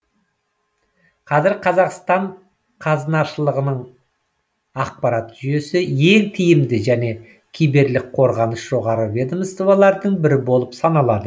қазір қазақстан қазынашылығының ақпараттық жүйесі ең тиімді және киберлік қорғаныс жоғары ведомстволардың бірі болып саналады